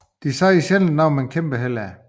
De siger sjældent noget men kæmper hellere